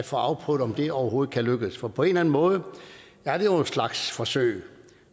få afprøvet om det overhovedet kan lykkes for på en eller anden måde er det jo en slags forsøg